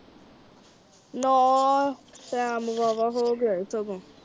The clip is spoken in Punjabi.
ਨਾ ਟਾਈਮ ਵਾਵਾ ਹੋ ਗਿਆ ਹੈ ਸਗੋਂ।